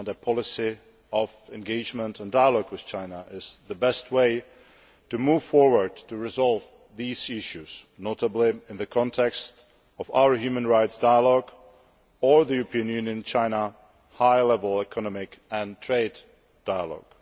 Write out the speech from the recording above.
A policy of engagement and dialogue with China is the best way to move forward to resolve these issues, notably in the context of our Human Rights Dialogue or the EU China High Level Economic and Trade Dialogue.